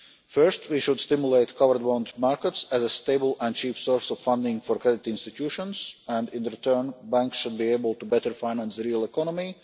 First, we should stimulate covered bond markets as a stable and cheap source of funding for credit institutions, and in return, banks should be able to better finance the real economy.